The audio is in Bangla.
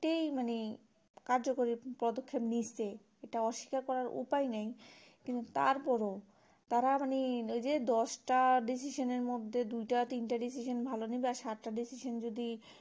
তাই মানে কার্যকরী পদক্ষেপ নিয়েছে ইটা অস্বীকার করার উপায় নেই কিন্তু তারপর ও তারা মানে ওই যে দশটা decision এর মধ্যে দুই টা তিনটা decision ভালো নেবে আর সাতটা decision যদি